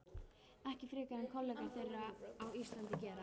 Ekki frekar en kollegar þeirra á Íslandi gera.